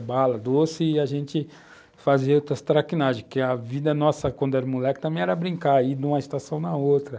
bala, doce, e a gente fazia outras traquinagens, porque a vida nossa, quando era moleque, também era brincar, ir de uma estação na outra.